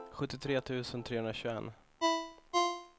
sjuttiotre tusen trehundratjugoett